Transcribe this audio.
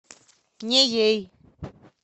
неей